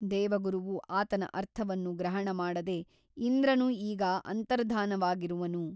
ದೇವಗುರುವು ಆತನ ಅರ್ಥವನ್ನು ಗ್ರಹಣಮಾಡದೆ ಇಂದ್ರನು ಈಗ ಅಂತರ್ಧಾನವಾಗಿರುವನು.